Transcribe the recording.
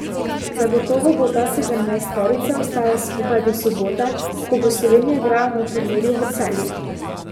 Zagotovo bo ta sedemnajsterica ostala skupaj do sobote, ko bo Slovenija igrala na turnirju v Celju.